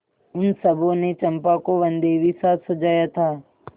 उन सबों ने चंपा को वनदेवीसा सजाया था